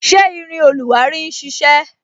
Ṣé irin oluwari ń sisẹ?